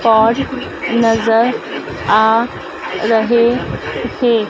और नजर आ रहे हैं।